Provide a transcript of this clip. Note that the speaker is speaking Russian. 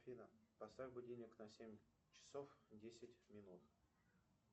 афина поставь будильник на семь часов десять минут